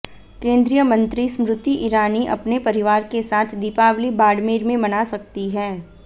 केंद्रीय मंत्री स्मृति ईरानी अपने परिवार के साथ दीपावली बाड़मेर में मना सकती हैं